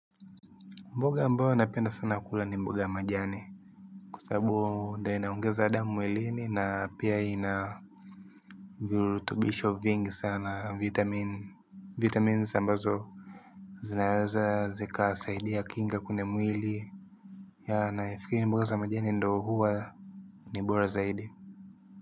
Mboga ambayo napenda sana kula ni mboga ya majani. Kw sababu ndio inaongeza damu mwilini na pia ina virutubisho vingi sana vitamin. Vitamine ambazo zinaweza zikasaidia kinga kwenye mwili. Nafikiri mboga za majani ndio huwa ni bora zaidi.